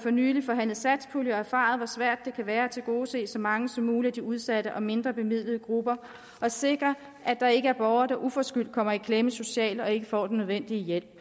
for nylig forhandlet satspulje og erfaret hvor svært det kan være at tilgodese så mange som muligt af de udsatte og mindrebemidlede grupper og sikre at der ikke er borgere der uforskyldt kommer i klemme socialt og ikke får den nødvendige hjælp